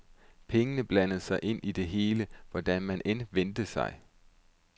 Pengene blandede sig ind i det hele, hvordan man end vendte sig.